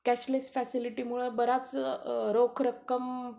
cashless फॅसिलिटीमुळे बरीच रोख रक्कम